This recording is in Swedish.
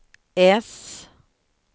S